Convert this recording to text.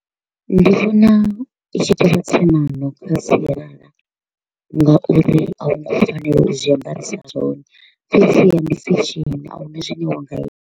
Ndi vhona i tshi to u vha tsemano kha sialala ngauri a hu ngo fanela u zwi ambarisa zwone, fhedziha ndi fashion ahuna zwine wa nga ita.